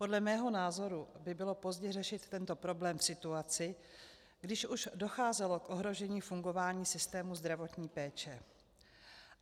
Podle mého názoru by bylo pozdě řešit tento problém v situaci, když už docházelo k ohrožení fungování systému zdravotní péče.